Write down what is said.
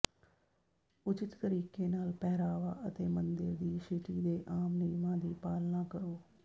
ਉਚਿਤ ਤਰੀਕੇ ਨਾਲ ਪਹਿਰਾਵਾ ਅਤੇ ਮੰਦਰ ਦੀ ਸ਼ਿਟੀ ਦੇ ਆਮ ਨਿਯਮਾਂ ਦੀ ਪਾਲਣਾ ਕਰੋ